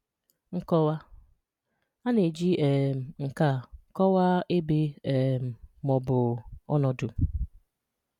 Nkọwa: A na-eji um nke a kọwaa ebe um ma ọ bụ ọnọdụ.